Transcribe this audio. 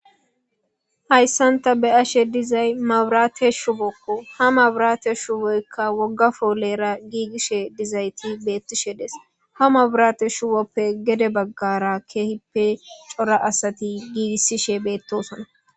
Hayssanta be ashe dizay mabrate shubokko ha maburate shuuboykka woggafoolera giigisshe dizayti beettishe des ha maburate shuwoppe gede baggara keehippe cora asati giigisishe beettosona.